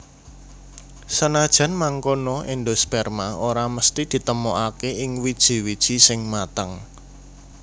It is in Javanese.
Senajan mangkono endosperma ora mesthi ditemokaké ing wiji wiji sing mateng